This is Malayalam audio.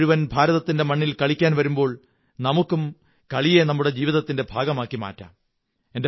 ലോകം മുഴുവൻ ഇന്ത്യയുടെ മണ്ണിൽ കളിക്കാൻ വരുമ്പോൾ നമുക്കും കളിയെ നമ്മുടെ ജീവിതത്തിന്റെ ഭാഗമാക്കിമാറ്റാം